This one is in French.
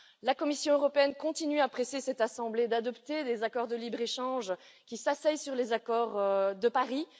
La Commission européenne continue à presser cette assemblée d'adopter les accords de libre échange qui s'asseyent sur les accords de Paris.